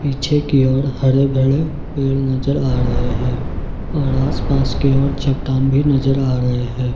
पीछे की ओर हरे भरे पेड़ नजर आ रहे हैं और आस पास के और चट्टान भी नजर आ रहे हैं।